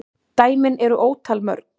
Dæmin eru ótal mörg.